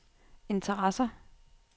interesser